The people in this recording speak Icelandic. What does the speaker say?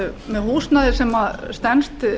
með húsnæði sem stenst